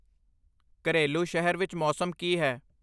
ਘਰੇਲੂ ਸ਼ਹਿਰ ਵਿੱਚ ਮੌਸਮ ਕੀ ਹੈ?